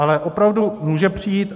Ale opravdu může přijít.